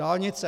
Dálnice...